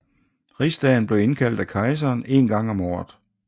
Rigsdagen blev indkaldt af kejseren en gang om året